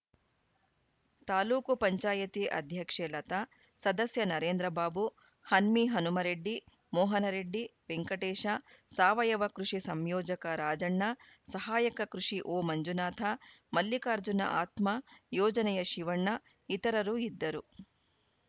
ತಾಲೂಕು ಪಂಚಾಯಿತಿ ಅಧ್ಯಕ್ಷೆ ಲತಾ ಸದಸ್ಯ ನರೇಂದ್ರ ಬಾಬು ಹನ್ಮಿ ಹನುಮರೆಡ್ಡಿ ಮೋಹನ ರೆಡ್ಡಿ ವೆಂಕಟೇಶ ಸಾವಯವ ಕೃಷಿ ಸಂಯೋಜಕ ರಾಜಣ್ಣ ಸಹಾಯಕ ಕೃಷಿ ಓಮಂಜುನಾಥ ಮಲ್ಲಿಕಾರ್ಜುನ ಆತ್ಮ ಯೋಜನೆಯ ಶಿವಣ್ಣ ಇತರರು ಇದ್ದರು